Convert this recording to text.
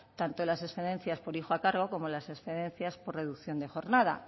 tanto las excedencias por hijo a cargo como las excedencias por reducción de jornada